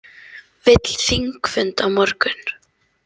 Vill þingfund á morgun